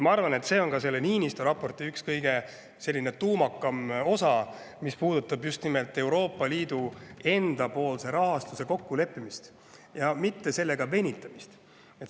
Ma arvan, et see on Niinistö raporti üks kõige tuumakam osa, mis puudutab just nimelt Euroopa Liidu enda rahastuses kokkuleppimist ja sellega mitte venitamist.